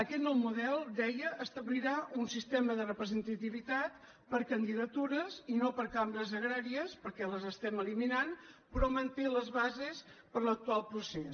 aquest nou model deia establirà un sistema de repre·sentativitat per candidatures i no per cambres agràries perquè les estem eliminant però manté les bases per a l’actual procés